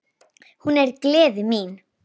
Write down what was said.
Hún er gleði mín.